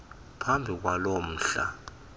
phambi kwalo mhla